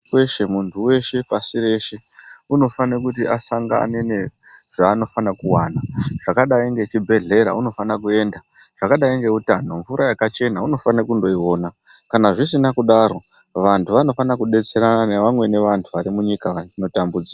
Weshe muntu weshe pashi reshe unofana kuti asangane nezvaanofana kuwana zvakadai ngezvibhedhlera ,mvura yakachena unofana kuiwana .Vanhu vanofana kudetserana nevamwene vantu varimunyika varikutambudzika.